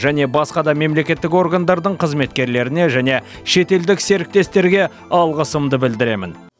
және басқа да мемлекеттік органдардың қызметкерлеріне және шетелдік серіктестерге алғысымды білдіремін